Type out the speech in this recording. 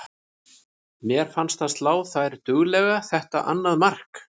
Mér fannst það slá þær duglega þetta annað mark.